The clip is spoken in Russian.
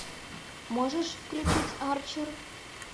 можешь включить арчер